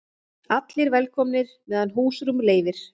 Allir velkomnir meðan húsrúm leyfir